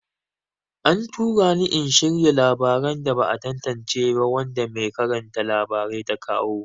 An tura ni in shirya labaran da ba a tantance ba wanda mai karanta labarai ta kawo.